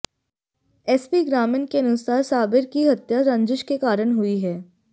SP ग्रामीण के अनुसार साबिर की हत्या रंजिश के कारण हुई है